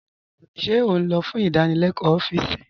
Ṣé ó n'ọ̀ fún ìdánílẹ̀kọ̀ ọfíìsí?